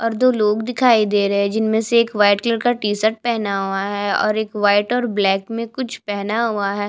और दो लोग दिखाई दे रहै है जिनमें से एक व्हाईट कलर का टी शर्ट पहना हुआ है और एक व्हाईट और ब्लैक में कुछ पहना हुआ है।